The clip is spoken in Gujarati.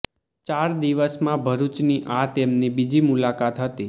ચાર દિવસમાં ભરૂચની આ તેમની બીજી મુલાકાત હતી